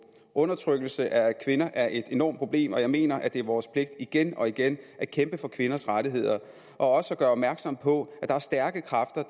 undertrykkelse af kvinder er et enormt problem og jeg mener at det er vores pligt igen og igen at kæmpe for kvinders rettigheder og også at gøre opmærksom på at der er stærke kræfter